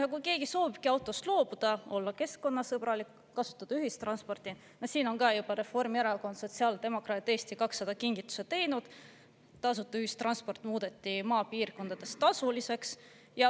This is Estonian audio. Ja kui keegi soovibki autost loobuda, olla keskkonnasõbralik, kasutada ühistransporti, siis ka siin on juba Reformierakond, sotsiaaldemokraadid ja Eesti 200 kingituse teinud – tasuta ühistransport muudeti maapiirkondades tasuliseks.